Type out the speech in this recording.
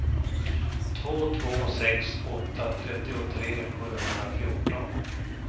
två två sex åtta trettiotre sjuhundrafjorton